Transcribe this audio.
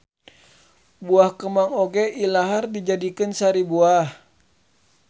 Buah kemang oge ilahar dijadikeun sari buah